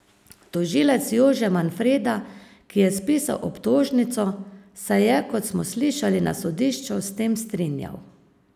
Tožilec Jože Manfreda, ki je spisal obtožnico, se je, kot smo slišali na sodišču, s tem strinjal.